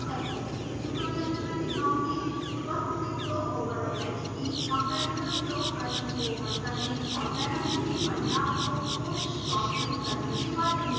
इस tutorial में मैं दिखाऊँगी: supersonic flow over a wedge की compressible flow प्रश्न को how करने और paraview में परिणामों को postprocess करने के बारे में